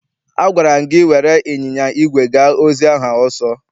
Agwara m gị were ịnyịnya igwe gaa ozi ahụ ọsọ!